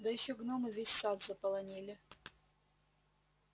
да ещё гномы весь сад заполонили